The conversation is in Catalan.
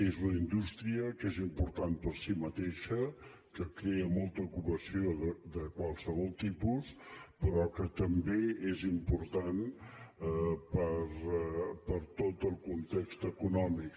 és una indústria que és important per si mateixa que crea molta ocupació de qualsevol tipus però que també és important per tot el context econòmic